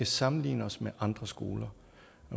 sammenligne os med andre skoler